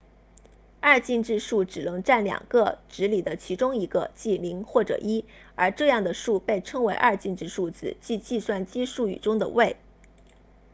二进制数只能占两个值里的其中一个即0或者1而这样的数被称为二进制数字即计算机术语中的位